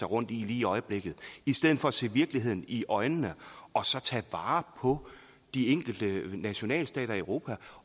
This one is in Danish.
rundt i lige i øjeblikket i stedet for at se virkeligheden i øjnene og så tage vare på de enkelte nationalstater i europa